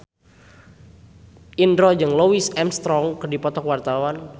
Indro jeung Louis Armstrong keur dipoto ku wartawan